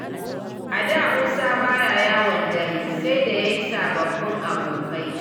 A da Musa baya yawon dare sai da ya yi sababbin abokai.